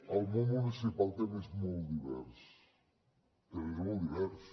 el món municipal també és molt divers també és molt divers